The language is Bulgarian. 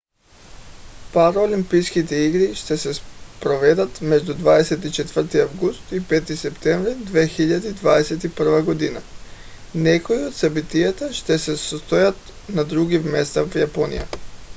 параолимпийските игри ще се проведат между 24 август и 5 септември 2021 г. някои от събитията ще се състоят на други места в япония